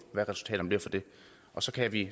hvad resultaterne bliver for det og så kan vi